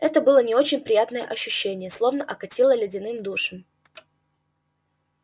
это было не очень приятное ощущение словно окатило ледяным душем